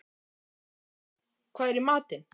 Þórörn, hvað er í matinn?